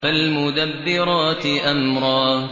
فَالْمُدَبِّرَاتِ أَمْرًا